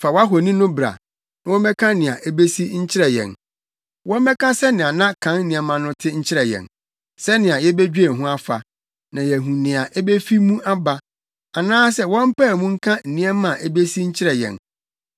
“Fa wʼahoni no bra na wɔmmɛka nea ebesi nkyerɛ yɛn. Wɔmmɛka sɛnea na kan nneɛma no te nkyerɛ yɛn, sɛnea yebedwen ho afa na yɛahu nea ebefi mu aba. Anaasɛ wɔmpae mu nka nneɛma a ebesi nkyerɛ yɛn.